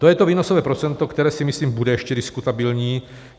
To je to výnosové procento, které si myslím, bude ještě diskutabilní.